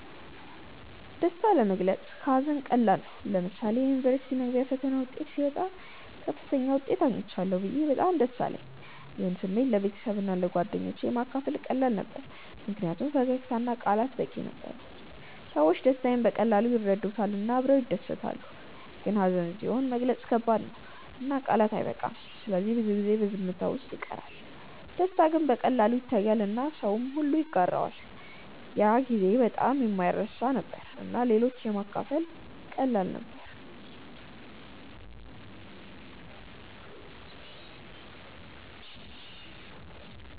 ደስታ ለመግለጽ ከሀዘን ቀላል ነው። ለምሳሌ የዩኒቨርሲቲ መግቢያ ፈተና ውጤት ሲወጣ ከፍተኛ ውጤት አግኝቻለሁ ብዬ በጣም ደስ አለኝ። ይህን ስሜት ለቤተሰብና ለጓደኞቼ ማካፈል ቀላል ነበር ምክንያቱም ፈገግታ እና ቃላት በቂ ነበሩ። ሰዎች ደስታዬን በቀላሉ ይረዱታል እና አብረው ይደሰታሉ። ግን ሀዘን ሲሆን መግለጽ ከባድ ነው እና ቃላት አይበቃም ስለዚህ ብዙ ጊዜ በዝምታ ውስጥ ይቀራል። ደስታ ግን በቀላሉ ይታያል እና ሁሉም ሰው ይጋራዋል። ያ ጊዜ በጣም የማይረሳ ነበር እና ለሌሎች ማካፈል ቀላል ነበር።